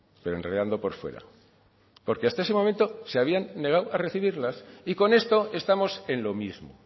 pero enredando por fuera porque hasta ese momento se habían negado a recibirlas y con esto estamos en lo mismo